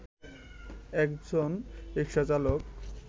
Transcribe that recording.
একজন রিকশাচালক